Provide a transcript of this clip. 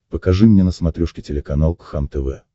покажи мне на смотрешке телеканал кхлм тв